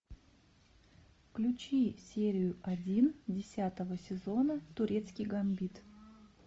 включи серию один десятого сезона турецкий гамбит